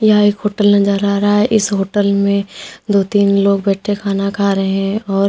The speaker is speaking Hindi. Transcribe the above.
यह एक होटल नजर आ रहा है इस होटल में दो तीन लोग बैठे खाना खा रहे हैं और--